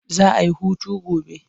Za a yi hutu gobe.